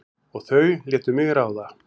Og þau létu mig ráða.